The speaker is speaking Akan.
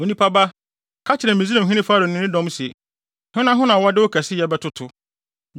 “Onipa ba, ka kyerɛ Misraimhene Farao ne ne dɔm se: “ ‘Hena ho na wɔde wo kɛseyɛ bɛtoto?